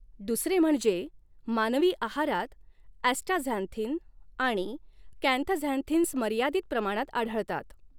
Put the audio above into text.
दुसरे म्हणजे मानवी आहारात अॅ्स्टाझॅन्थीन आणि कॅंथझॅन्थीन्स मर्यादित प्रमाणात आढळतात.